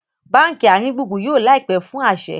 bánkì aringbungbun yóò láìpé fún a aṣẹ